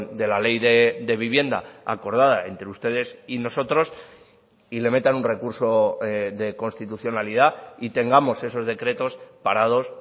de la ley de vivienda acordada entre ustedes y nosotros y le metan un recurso de constitucionalidad y tengamos esos decretos parados